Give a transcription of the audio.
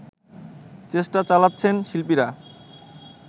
চেষ্টা চালাচ্ছেন শিল্পীরা